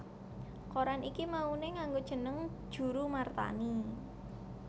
Koran iki mauné nganggo jeneng Djoeroemarthani